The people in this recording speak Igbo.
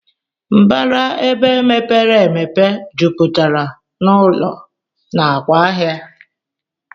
Mbara ebe mepere emepe juputara na ụlọ nakwa ahia.